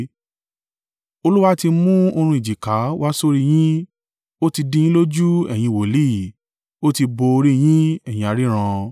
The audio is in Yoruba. Olúwa ti mú oorun ìjìká wá sórí i yín: ó ti dì yín lójú ẹ̀yin wòlíì; ó ti bo orí yín ẹ̀yin aríran.